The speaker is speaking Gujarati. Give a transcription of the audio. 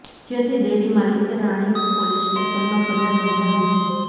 જેથી ડેરી માલિકે રાણીપ પોલીસ સ્ટેશનમાં ફરિયાદ નોંધાવી છે